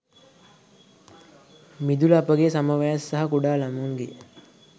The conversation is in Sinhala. මිදුල අපගේ සම වයස් සහ කුඩා ළමුන්ගේ